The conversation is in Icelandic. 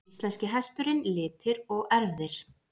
Íslenski hesturinn- litir og erfðir.